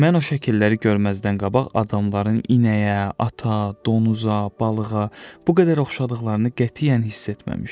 Mən o şəkilləri görməzdən qabaq adamların inəyə, ata, donuza, balığa bu qədər oxşadıqlarını qətiyyən hiss etməmişdim.